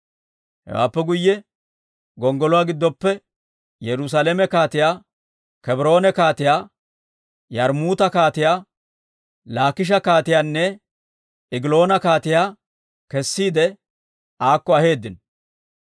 Hewaappe guyye gonggoluwaa giddoppe Yerusaalame kaatiyaa, Kebroone kaatiyaa, Yarmmuuta kaatiyaa, Laakisha kaatiyaanne Egiloona kaatiyaa kessiide aakko aheeddino.